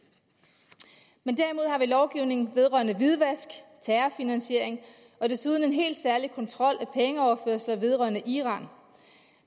lovgivning vedrørende hvidvask terrorfinansiering og desuden en helt særlig kontrol af pengeoverførsler vedrørende iran